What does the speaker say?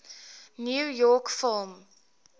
new york film